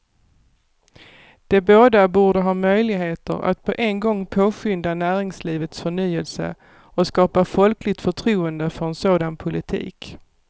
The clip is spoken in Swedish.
De båda borde ha möjligheter att på en gång påskynda näringslivets förnyelse och skapa folkligt förtroende för en sådan politik.